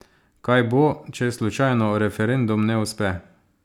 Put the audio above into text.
Kaj bo, če slučajno referendum ne uspe?